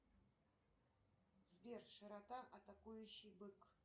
сбер широта атакующий бык